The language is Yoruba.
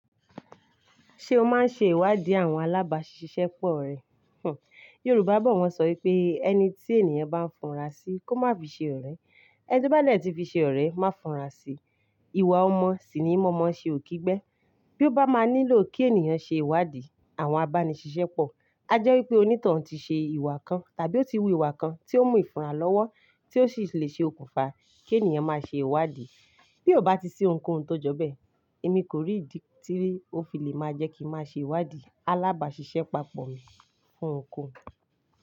Ṣé o máa ń ṣe ìwádìí àwọn alábàásisẹ́pọ̀ rẹ? Hmmm Yorùbá bọ̀ wọ́n ṣọ pé "ẹni tí ènìyàn bá ń funra sí, kó má fi ṣe ọ̀rẹ́, ẹni tó bá ní ẹ ti fi ṣe ọ̀rẹ́, má funra sí". Iwà ọmọ sì ni mọ̀mọ́ ṣe òkígbe. Bí ó bá máa nílò kí ènìyàn ṣe ìwádìí àwọn abánisẹ́pọ̀, a jẹ́ wípé onítàn ti ṣe ìwà kan tàbí ó ti wu ìwà kan tí ó mú ìfúnra lọ́wọ́ tí ó sì le ṣe okùnfà kí ènìyàn máa ṣe ìwádìí. Bí ò bá ti sí ohunkóhun tó jọ bẹ́ẹ̀, èmi kò rí ìdí tí ó fi lè máa jẹ́ kí n máa ṣe ìwádìí alábàásisẹ́pọ̀ mi fún nǹkan.